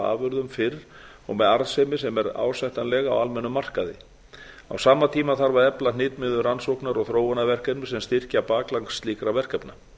afurðum fyrr og með arðsemi sem er ásættanleg á almennum markaði á sama tíma þarf að efla hnitmiðuð rannsókna og þróunarverkefni sem styrkja bakland slíkra verkefna